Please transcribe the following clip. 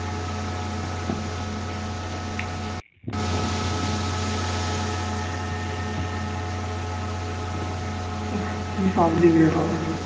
উফ কি public রে বাবা